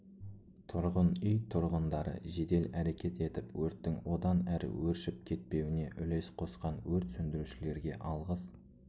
тұрғын үй тұрғындары жедел әрекет етіп өрттің одан әрі өршіпк етпеуіне үлес қосқан өрт сөндірушілерге алғыс